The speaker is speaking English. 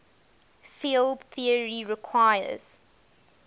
field theory requires